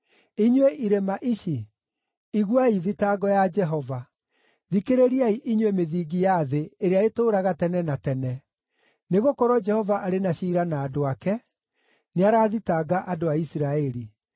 Inyuĩ irĩma ici, iguai thitango ya Jehova; thikĩrĩriai inyuĩ mĩthingi ya thĩ ĩrĩa ĩtũũraga tene na tene. Nĩgũkorwo Jehova arĩ na ciira na andũ ake, nĩarathitanga andũ a Isiraeli.